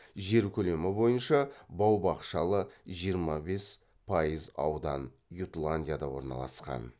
жер көлемі бойынша бау бақшалы жиырма бес пайыз аудан ютландияда орналасқан